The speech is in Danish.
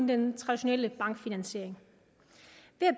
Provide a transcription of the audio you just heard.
den traditionelle bankfinansiering